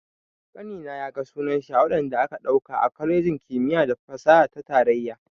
Ƙanina ya ga sunan shi a wadanda aka ɗauka a kwalejin kimiyya da fasaha ta tarayya.